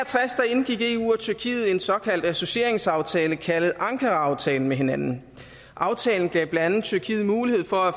indgik eu og tyrkiet en såkaldt associeringsaftale kaldet ankaraaftalen med hinanden aftalen gav blandt andet tyrkiet mulighed for at